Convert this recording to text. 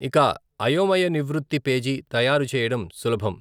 ఇక అయోమయ నివృత్తి పేజీ తయారు చెయ్యడం సులభం.